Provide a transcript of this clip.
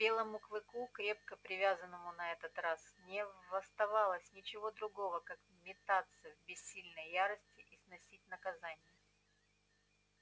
белому клыку крепко привязанному на этот раз не оставалось ничего другого как метаться в бессильной ярости и сносить наказание